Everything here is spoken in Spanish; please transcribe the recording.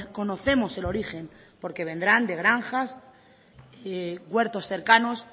conocemos el origen porque vendrán de granjas huertos cercanos